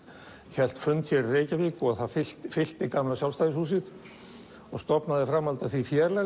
hélt fund hér í Reykjavík og fyllti fyllti gamla Sjálfstæðishúsið og stofnaði í framhaldi af því félag